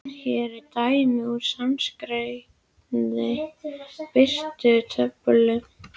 Hér er dæmi úr sænskri birtutöflu